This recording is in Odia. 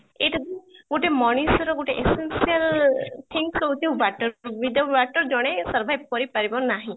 ଏଇଟା ବି ଗୋଟେ ମଣିଷର ଗୋଟେ essential thing ହଉଛି water, without water ଜଣେ survive କରି ପାରିବ ନାହିଁ